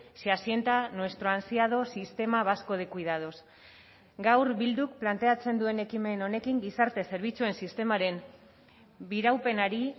se asienta nuestro ansiado sistema vasco de cuidados gaur bilduk planteatzen duen ekimen honekin gizarte zerbitzuen sistemaren biraupenari